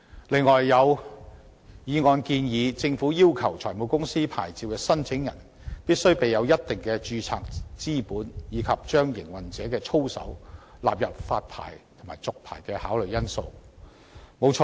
此外，有議案建議政府要求財務公司牌照申請人，必須備有一定的註冊資本，以及將營運者的操守納入發牌及續牌的考慮因素之內。